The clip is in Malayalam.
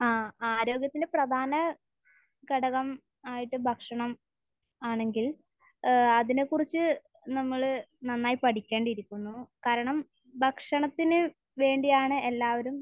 ആഹ്. ആരോഗ്യത്തിന്റെ പ്രധാന ഘടകമായിട്ട് ഭക്ഷണം ആണെങ്കിൽ ഏഹ് അതിനെക്കുറിച്ച് നമ്മൾ നന്നായി പഠിക്കേണ്ടിയിരിക്കുന്നു. കാരണം ഭക്ഷണത്തിന് വേണ്ടിയാണ് എല്ലാവരും